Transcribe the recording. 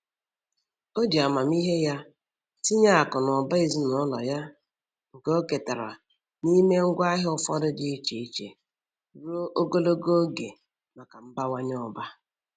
O ji amamihe ya tinye akụ na ụba ezinụlọ ya nke o ketara n'ime ngwaahịa ụfọdụ dị iche iche ruo ogologo oge maka mbawanye ụba.